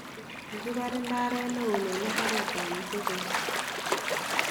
Kakibaar ndaret neon en imbaret ab Museveni.